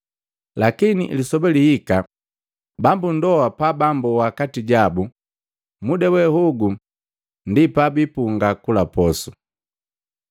Lakini lisoba lihika bambu ndoa pabamboa kati jabu, muda we hogu ndi pabipunga kula posu.”